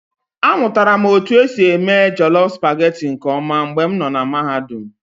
Amụtara m otu esi eme jollof supagetii nke ọma mgbe m nọ na Mahadum.